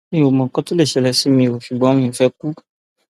mi ò mọ nǹkan tó lè ṣẹlẹ sí mi o ṣùgbọn mi ò fẹẹ kú